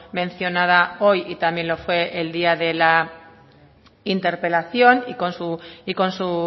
mencionada hoy y también lo fue el día de la interpelación y con su